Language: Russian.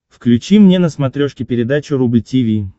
включи мне на смотрешке передачу рубль ти ви